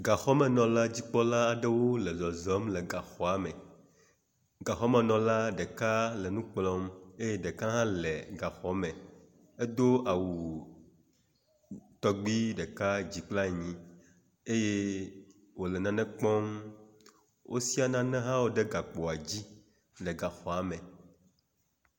Gakpɔmenɔla dzikpɔla aɖwo le zɔzɔm le gaxɔame. Gaxɔmenɔla ɖeka le nu kplɔm eye ɖeka hã le gaxɔme. Edo awu tɔgbi ɖeka dzi kple anyi eye wo le nane kpɔm. wosia nane hã ɖe gakpoa dzi le gaxɔa me.